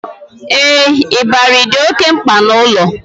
Ee, ịbarị dị oké mkpa n'ụlọ